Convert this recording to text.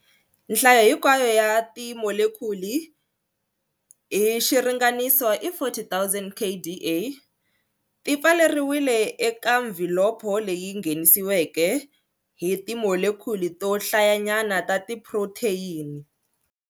Nhlayo hinkwayo ya timolekhuli hi xiringaniso i 40 000 kDa. Ti pfaleriwile eka mvhilopho leyi nghenisiweke hi timolekhuli to hlayanyana ta tiphrotheyini.